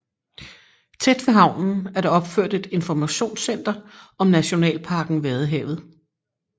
Tæt ved havnen er der opført et informationscenter om nationalparken Vadehavet